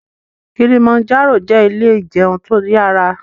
Kilimanjaro jẹ ilé ìjẹun tó yára